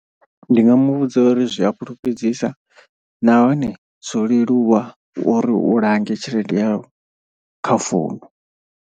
Ndi nga mu vhudza uri zwi a fhulufhedzisa nahone zwo leluwa uri u lange tshelede yau kha founu.